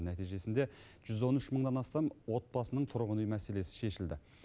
нәтижесінде жүз он үш мыңнан астам отбасының тұрғын үй мәселесі шешілді